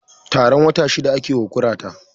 Horon wata shida ake wa kurata